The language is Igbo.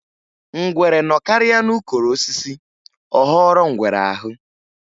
Ngwere nọkarịa n'ukoro osisi ọ ghọrọ ngwere aghụ.